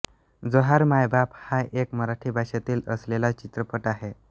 जोहार मायबाप हा एक मराठी भाषेतील असलेला चित्रपट आहे